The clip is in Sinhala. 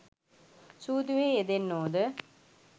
සූදුවෙහි යෙදෙන්නෝ ද